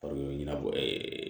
ɲɛnabɔ